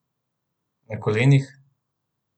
Na kolenih?